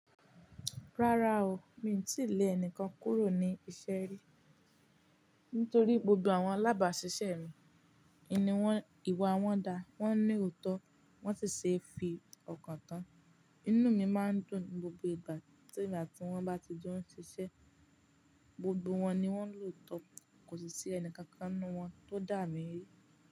Rárá o, mi ò tíì lẹ́ ẹni kan kúrò ní iṣẹ́ rí. Nítorí gbogbo àwọn alábàṣiṣẹ́ mi, ìni wọ́n, ìwà wọ́n da, wọ́n ní òótọ́, wọ́n sì ṣe é fi ọkàn tán. Inú mi máa ń dùn gbogbo ìgbà tí emià tí wọ́n bá ti jẹ́ ń ṣiṣẹ́. Gbogbo wọn ni wọ́n lòótọ́, kò sì sí ẹni kankan nínú wọn tó dà mí rí.